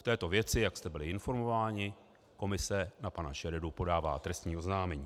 V této věci, jak jste byli informováni, komise na pana Šeredu podává trestní oznámení.